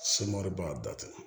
b'a datugu